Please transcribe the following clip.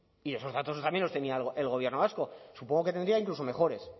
y esos datos también los tenía el gobierno vasco supongo que tendría incluso mejores